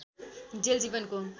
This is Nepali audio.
जेल जीवनको